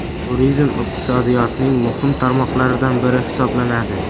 Turizm iqtisodiyotning muhim tarmoqlaridan biri hisoblanadi.